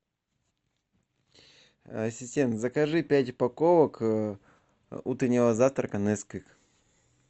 ассистент закажи пять упаковок утреннего завтрака несквик